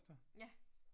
Ja